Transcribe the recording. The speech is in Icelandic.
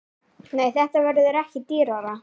Nei, þetta verður ekki dýrara.